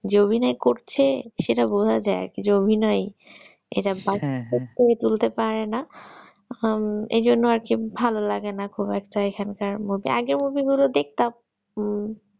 যে অভিনয় করছে সেটা বোঝা যায় যে অভিনয় এরা বাস্তব করে তুলতে পারেনা উম এই জন্য আর কি ভালো লাগে না খুব একটা এখানকার movie আগের movie গুলো দেখতাম উম